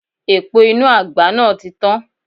Epo inú àgbá náà ti tán.